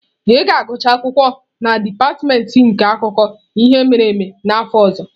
Ị ga-agụcha akwụkwọ na dipatịmentị nke akụkọ ihe mere eme n'afọ ọzọ?